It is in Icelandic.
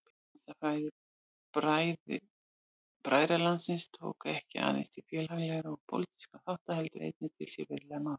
Hugmyndafræði bræðralagsins tók ekki aðeins til félagslegra og pólitískra þátta heldur einnig til siðferðislegra mála.